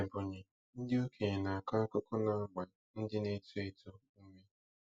N’Ebonyi, ndị okenye na-akọ akụkọ na-agba ndị na-eto eto ume.